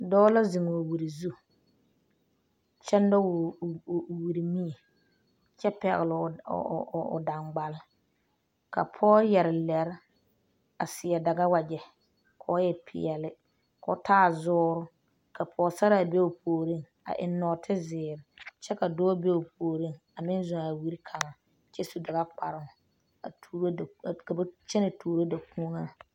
Dɔɔ la zeŋ o wire zu kyɛ nyɔge o wire Miri kyɛ pɛgele o dangbal ka pɔge yɛre lerɛ a seɛ daga wagyɛ kɔ e pɛɛle kɔ taa zuur ka pɔgesarra be o puoriŋ a eŋe. nɔɔte zeɛre kyɛ ka dɔɔ be o puoriŋ a meŋ zʋŋ a wire kaŋa kyɛ su daga kpaaroo ka ba kyɛne tuuro dakon